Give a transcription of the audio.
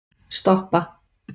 stoppa